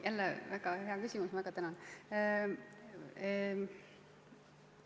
Jälle väga hea küsimus, ma väga tänan!